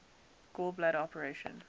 gall bladder operation